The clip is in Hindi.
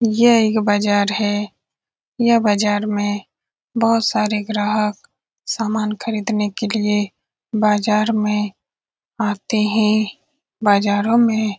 यह एक बाज़ार है यह बाज़ार में बहोत सारे ग्राहक सामान खरीदने के लिए बाज़ार में आते हैं बाजारों में --